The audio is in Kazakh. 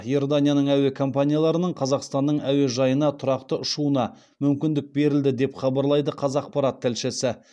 иорданияның әуе компанияларының қазақстанның он бір әуежайына тұрақты ұшуына мүмкіндік берілді деп хабарлайды қазақпарат тілшісі